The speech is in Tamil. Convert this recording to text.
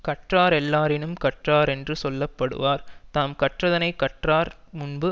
கற்றாரெல்லாரினும் கற்றாரென்று சொல்ல படுவார் தாம் கற்றதனை கற்றார் முன்பு